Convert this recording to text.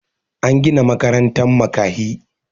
an Gina makarantan makahi